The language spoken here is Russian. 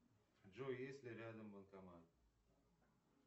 джой есть ли рядом банкомат